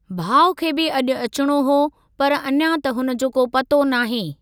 भाउ खे बि अॼु अचणो हुओ पर अञां त हुन जो को पतो नाहे।